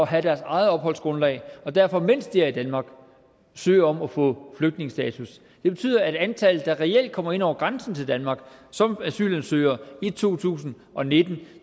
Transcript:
have deres eget opholdsgrundlag og derfor mens de er i danmark søger om at få flygtningestatus det betyder at antallet der reelt kommer ind over grænsen til danmark som asylansøger i to tusind og nitten